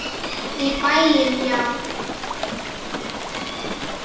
Í bæinn, já!